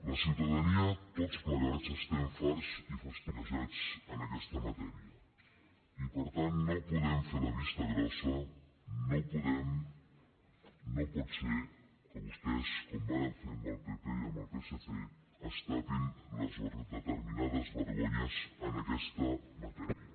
la ciutadania tots plegats estem farts i fastiguejats en aquesta matèria i per tant no podem fer la vista grossa no podem no pot ser que vostès com vàrem fer amb el pp i amb el psc es tapin determinades vergonyes en aquesta matèria